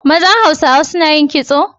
Mazan Hausawa suna yin kitso?